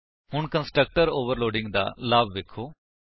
ਹੁਣ constructor overloading ਦਾ ਲਾਭ ਵੇਖੋ